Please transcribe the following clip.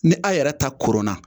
Ni a' yɛrɛ ta koronna